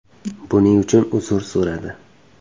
buning uchun uzr so‘radi.